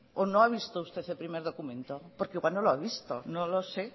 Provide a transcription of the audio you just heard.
o no ha visto usted el primer documento porque igual no lo ha visto no lo sé